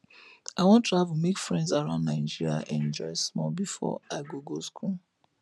i wan travel make friends around nigeria enjoy small before i go go school